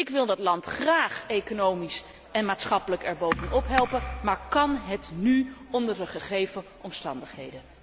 Ik wil dat land graag economisch en maatschappelijk erbovenop helpen, maar kan het nu onder de gegeven omstandigheden?